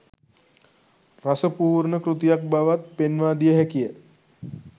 රස පූර්ණ කෘතියක් බවත් පෙන්වාදිය හැකිය